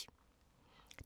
DR2